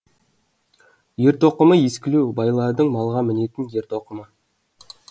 ер тоқымы ескілеу байлардың малға мінетін ер тоқымы